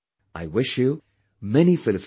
I wish you many felicitations